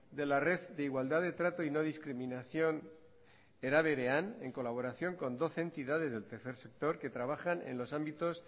de la red de igualdad de trato y no discriminación era berean en colaboración con doce entidades del tercer sector que trabajan en los ámbitos